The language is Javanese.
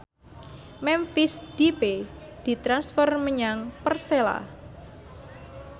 Memphis Depay ditransfer menyang Persela